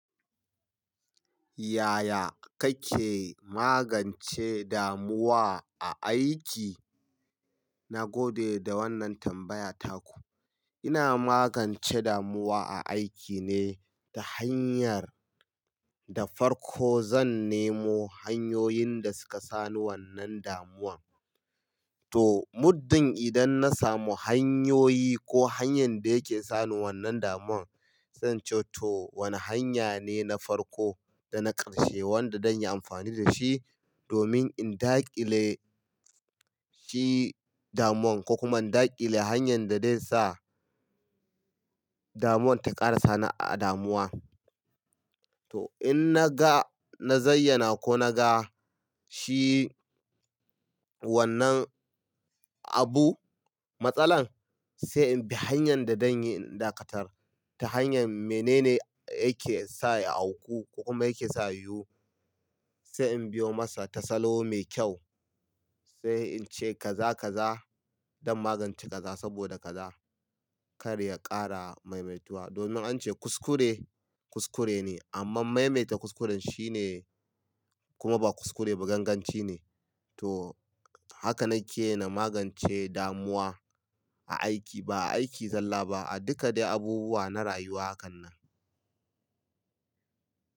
Yaya kake magance damuwa a aiki? Na gode da wannan tambaya taku. Ina magance damuwa a aiki ne ta hanyar, da farko zan nemo hanyoyin da suka sa ni wannan damuwan. To muddin idan na samu hanyoyi ko hanyan da yake sani wannan damuwan sai in ce to wani hanya ne na farko da na karshe wanda dan yi amfani da shi domin in dakile shi damuwan ko kuma in daƙile hanyan da dai sa damuwan ta ƙara sani a damuwa. To in na ga, na zayyana ko na ga shi wannan abu, matsalan sai in bi hanyan da dan yi in dakatar ta hanyan menene yake sa ya auku ko kuma yake sa ya yiwu. Sai in biyo masa tasalo mai kyau, sai in ce kaza, kaza dan magance kaza saboda kaza kar ya ƙara maimaituwa domin an ce kuskure, kuskure ne amman maimaita kuskuren shine kuma ba kuskure ba ganganci ne. To, haka nake yi na magance damuwa a aiki, ba a aiki zalla ba a duka dai abubuwa na rayuwa hakan nan.